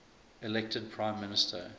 elected prime minister